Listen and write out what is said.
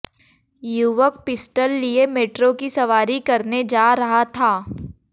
युवक पिस्टल लिये मेट्रो की सवारी करने जा रहा था